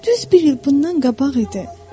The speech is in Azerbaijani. Düz bir il bundan qabaq idi.